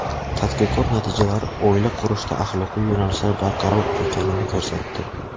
Tadqiqot natijalari oila qurishda axloqiy yo‘nalishlar barqaror ekanini ko‘rsatdi.